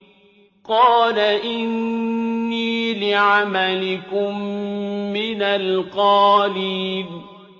قَالَ إِنِّي لِعَمَلِكُم مِّنَ الْقَالِينَ